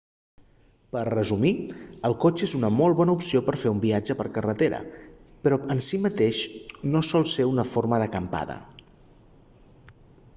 per resumir el cotxe és una molt bona opció per fer un viatge per carretera però en si mateix no sol ser una forma d'"acampada